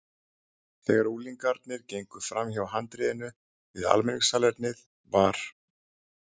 Þegar unglingarnir gengu framhjá handriðinu við almenningssalernið var